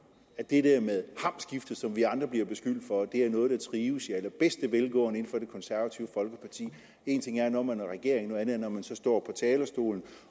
at det der med hamskiftet som vi andre bliver beskyldt for er noget der trives i allerbedste velgående i det konservative folkeparti en ting er når man er i regering noget andet er når man står talerstolen